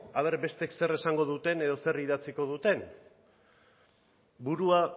a ber bestek zer esango duten edo zer idatziko duten burua